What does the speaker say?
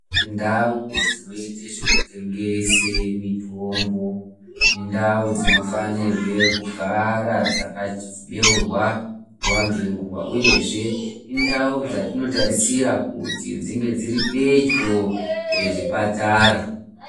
Ndau dsinoite zvekutengese mitombo indau dzinofanirwe kugara dzakatsibeurwa nguwa ngenguwa uyezve indau dzatinotarisira kuti dzinge dziri pedyo ngezvipatara.